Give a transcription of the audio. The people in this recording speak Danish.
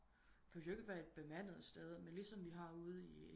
De behøves jo ikke være et bemandet sted men ligesom vi har ude i